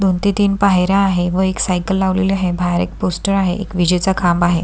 दोन ते तीन पायऱ्या आहे व एक सायकल लावलेले आहे बाहेर एक पोस्टर आहे एक विजेचा खांब आहे.